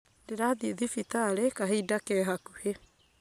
Ndĩrathiĩ thibitarĩ kahinda ke hakũhĩ